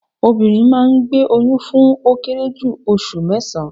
Obìnrin máa ngbé oyún fún ó kéré jù osù mésán-án